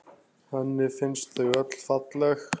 Henni finnst þau öll falleg.